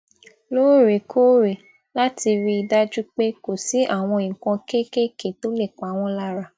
loorekoore láti rí i dájú pé kò sí àwọn nǹkan kéékèèké tó le pa won lara